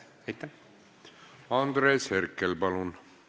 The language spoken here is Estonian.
Andres Herkel, palun!